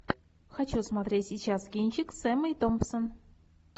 хочу смотреть сейчас кинчик с эммой томпсон